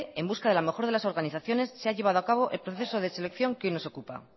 en busca de la mejor de las organizaciones se ha llevado a cabo el proceso de selección que hoy nos ocupa